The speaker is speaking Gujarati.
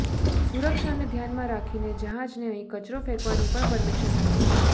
સુરક્ષાને ધ્યાનમાં રાખીને જહાજને અહીં કચરો ફેંકવાની પણ પરમિશન નથી